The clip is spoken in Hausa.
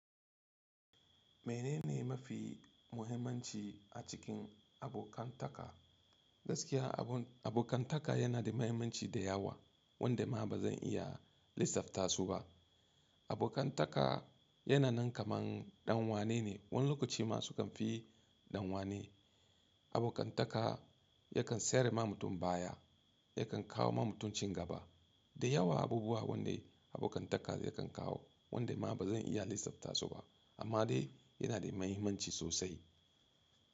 Menene mafi muhimmanci a cikin abokantaka? Gaskiya abokantaka yana da mahimmanci da yawa wande ma ba zan iya lissafta su ba. Abokantaka yana nan kaman ɗan wane ne, wani lokaci ma su kan fi ɗan wane. Abokantaka yakan tsare ma mutum baya, yakan kawo ma mutum cin gaba. Da yawa abubuwa wande abokantaka zai kan kawo wande ma ba zan iya lissafta su ba, amma dai yana da mahimmanci sosai.